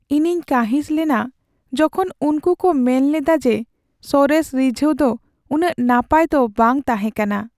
ᱤᱧᱤᱧ ᱠᱟᱺᱦᱤᱥ ᱞᱮᱱᱟ ᱡᱚᱠᱷᱚᱱ ᱩᱱᱠᱩ ᱠᱚ ᱢᱮᱱ ᱞᱮᱫᱟ ᱡᱮ ᱥᱚᱨᱮᱥ ᱨᱤᱡᱷᱟᱹᱣ ᱫᱚ ᱩᱱᱟᱹᱜ ᱱᱟᱯᱟᱭ ᱫᱚ ᱵᱟᱝ ᱛᱟᱦᱮᱸ ᱠᱟᱱᱟ ᱾